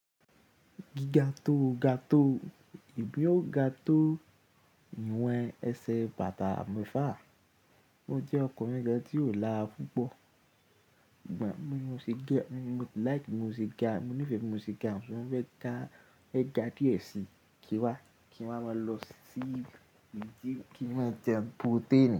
Giga to ga to, ìbí o ga to ìwọ̀n ẹsẹ̀ bàtà mẹ́fà. Ó jẹ́ ọkọ̀ mẹ́ga tí ó lára púpọ̀. Mo like bí mo se ga, mo nífẹ̀ẹ́ mo se ga, mo fẹ́ ga, ẹ ga díẹ̀ síì, kí wa, kí wá máa lọ sí ibi tí kí wá jẹ pótéènì.